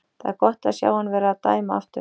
Það er gott að sjá hann vera að dæma aftur.